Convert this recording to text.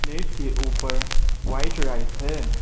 Plate के ऊपर white rice है।